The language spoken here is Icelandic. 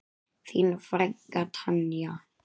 Þín frænka Tanja.